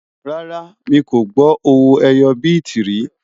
rárá, mí kò gbó owó ẹyọ biti rí